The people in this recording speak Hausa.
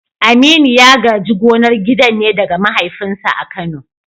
Aminu ya gaji gonar gidan ne daga mahaifinsa a Kano.